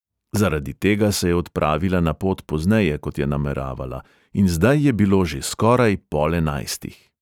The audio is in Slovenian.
Zaradi tega se je odpravila na pot pozneje, kot je nameravala, in zdaj je bilo že skoraj pol enajstih.